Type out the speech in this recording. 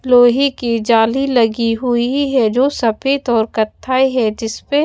लोहे की जाली लगी हुई है जो सफेद और कत्थई है जिस पे--